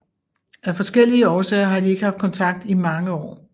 Af forskellige årsager har de ikke haft kontakt i mange år